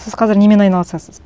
сіз қазір немен айналысасыз